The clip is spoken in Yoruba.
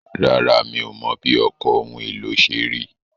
Rárá, mi ò mọ̀ bí ọkọ̀ ohun èlò ṣe rí.